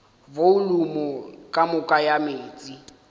volumo ka moka ya meetse